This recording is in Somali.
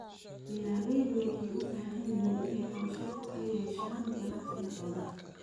Beeralaydu waxay u baahan yihiin inay qorshe fog ka yeeshaan ganacsiga xoolaha.